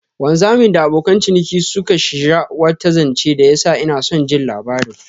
Wanzamin da abokan ciniki suka shija wata janche da ya sa inason jin labarin.